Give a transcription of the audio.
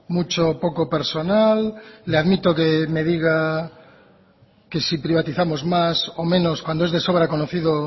mucho o poco personal le admito que me diga que si privatizamos más o menos cuando es de sobra conocido